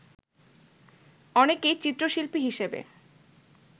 অনেকেই চিত্রশিল্পী হিসেবে